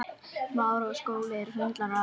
Bláskel liggur brotin milli hleina.